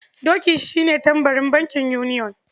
Doki shi ne tambarin bankin yuniyon.